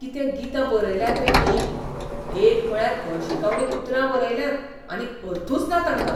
कितें गितां बरयल्यांत रे हीं? एक म्हळ्यार हळशिकावणीं उतरां बरयल्यांत आनी अर्थूच ना तांकां.